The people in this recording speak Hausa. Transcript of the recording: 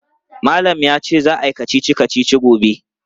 Malam ya ce za a yi kacici-kacici gobe.